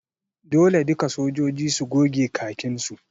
Dole duka sojoji su goge khakin su!